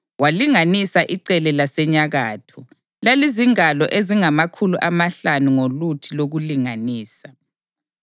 Walinganisa icele lasenyakatho; lalizingalo ezingamakhulu amahlanu ngoluthi lokulinganisa.